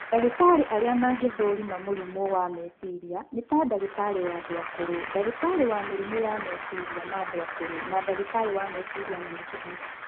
Ndagĩtarĩ arĩa mangĩthũrima mũrimũ wa meciria nĩ ta ndagĩtarĩ wa andũ akũrũ, ndagĩtarĩ wa mĩrimũ ya meciria ma andũ akũrũ na ndagĩtarĩ wa meciria na mĩkiha